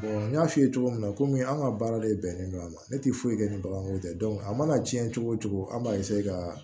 n y'a f'i ye cogo min na komi an ka baara de bɛnnen don a ma ne tɛ foyi kɛ ni baganko tɛ a mana diɲɛ cogo o cogo an b'a ka